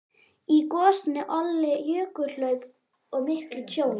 Í gosinu olli jökulhlaup og miklu tjóni.